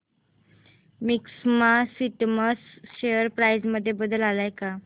maxima systems share price मध्ये बदल आलाय का